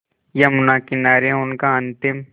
यमुना किनारे उनका अंतिम